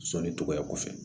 Sɔni tɔgɔya kɔfɛ